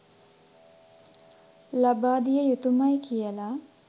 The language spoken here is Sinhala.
ලබා දිය යුතුමයි කියලා.